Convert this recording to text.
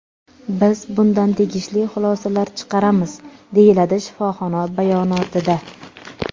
Biz bundan tegishli xulosalar chiqaramiz”, − deyiladi shifoxona bayonotida.